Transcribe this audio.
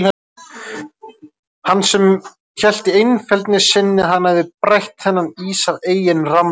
Hann sem hélt í einfeldni sinni að hann hefði brætt þennan ís af eigin rammleik.